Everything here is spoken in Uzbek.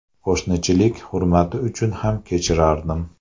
Qo‘shnichilik hurmati uchun ham kechirardim.